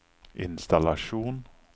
innstallasjon